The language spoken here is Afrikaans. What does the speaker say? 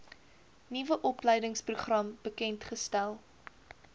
nuwe opleidingsprogram bekendgestel